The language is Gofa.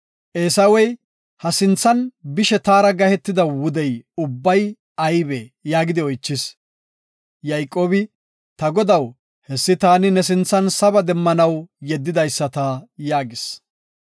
Eesawey, “Ha sinthan bishe taara gahetida wudey ubbay aybee?” yaagidi oychis. Yayqoobi, “Ta godaw, hessi taani ne sinthan saba demmanaw yeddidaysata” yaagis.